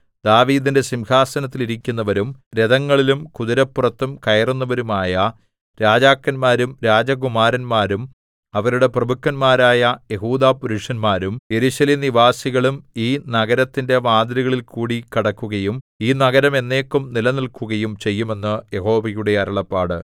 ദാവീദിന്റെ സിംഹാസനത്തിൽ ഇരിക്കുന്നവരും രഥങ്ങളിലും കുതിരപ്പുറത്തും കയറുന്നവരുമായ രാജാക്കന്മാരും രാജകുമാരന്മാരും അവരുടെ പ്രഭുക്കന്മാരായ യെഹൂദാപുരുഷന്മാരും യെരൂശലേം നിവാസികളും ഈ നഗരത്തിന്റെ വാതിലുകളിൽകൂടി കടക്കുകയും ഈ നഗരം എന്നേക്കും നിലനില്‍ക്കുകയും ചെയ്യും എന്ന് യഹോവയുടെ അരുളപ്പാട്